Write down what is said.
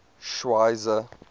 schweizer